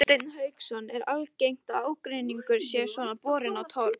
Hafsteinn Hauksson: Er algengt að ágreiningur sé svona borinn á torg?